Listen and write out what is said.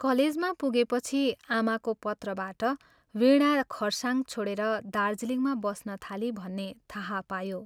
कलेजमा पुगेपछि आमाको पत्रबाट वीणा खरसाङ छोडेर दार्जीलिङमा बस्न थाली भन्ने थाहा पायो।